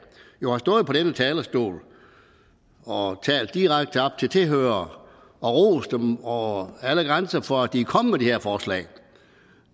jo har stået på denne talerstol og talt direkte op til tilhørere og rost dem over alle grænser for at de kom med de her forslag